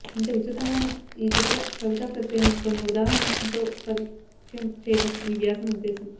ఇంత విస్తృతంగా ఉన్న ఈ చిత్రకవితా ప్రక్రియని కొన్ని ఉదాహరణల్తో పరిచయం చెయ్యటం ఈ వ్యాసం ఉద్దేశ్యం